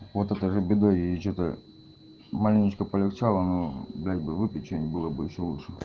фото тоже бедой и что-то маленечко полегчало но блять бы выпить чего-нибудь было бы ещё лучше